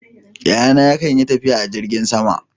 Yayana yakan yi tafiya a jirgin sama.